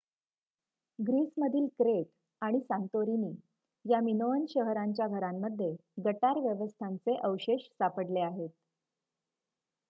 ग्रीसमधील Crete आणि Santorini या Minoan शहरांच्या घरांमध्ये गटार व्यवस्थांचे अवशेष सापडले आहेत